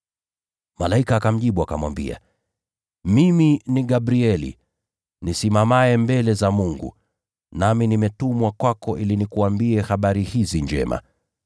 Malaika akamjibu, akamwambia, “Mimi ni Gabrieli, nisimamaye mbele za Mungu, nami nimetumwa kwako ili nikuambie habari hizi njema.